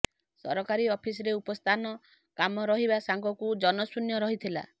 ସରକାରୀ ଅଫିସରେ ଉପସ୍ଥାନ କମ ରହିବା ସାଙ୍ଗକୁ ଜନଶୂନ୍ୟ ରହିଥିଲା